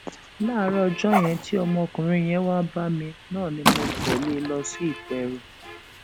láàárọ ọjọ yẹn tí ọmọkùnrin yẹn wáá bá mi náà ni mo tẹlé e lọ sí ìpẹrù